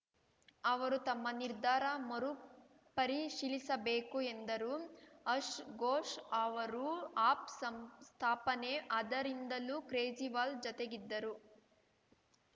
ಅವರು ತಮ್ಮ ನಿರ್ಧಾರ ಮರುಪರಿಶೀಲಿಸಬೇಕು ಎಂದರು ಅಶ್ ಗೋಷ್‌ ಅವರು ಆಪ್‌ ಸಂಸ್ಥಾಪನೆ ಅದರಿಂದಲೂ ಕ್ರೇಜಿವಾಲ್‌ ಜತೆಗಿದ್ದರು